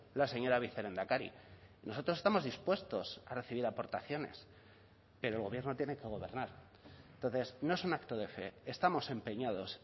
la señora vicelehendakari nosotros estamos dispuestos a recibir aportaciones pero el gobierno tiene que gobernar entonces no es un acto de fe estamos empeñados